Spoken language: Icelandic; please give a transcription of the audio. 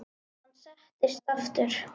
Hann settist aftur.